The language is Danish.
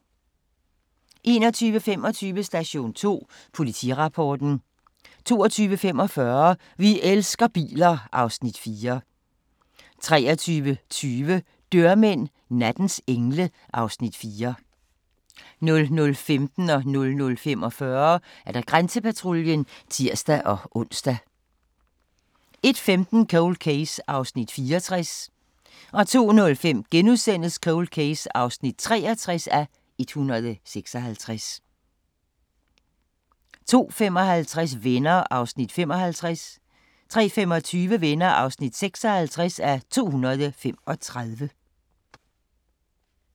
21:25: Station 2: Politirapporten 22:45: Vi elsker biler (Afs. 4) 23:20: Dørmænd – nattens engle (Afs. 4) 00:15: Grænsepatruljen (tir-ons) 00:45: Grænsepatruljen (tir-ons) 01:15: Cold Case (64:156) 02:05: Cold Case (63:156)* 02:55: Venner (55:235) 03:25: Venner (56:235)